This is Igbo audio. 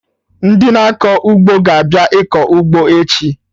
Ndị na-akọ ugbo aga abịa ịkọ ụgbọ echi?